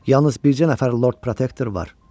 Yalnız bircə nəfər Lord Protektordur.